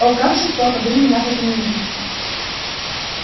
о как жестоко вы меня возненавидите